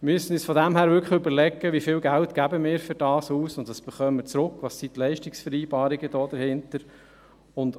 Von daher müssen wir uns wirklich überlegen, wie viel Geld wir dafür ausgeben und was wir zurückbekommen, welches die Leistungsvereinbarungen dahinter sind.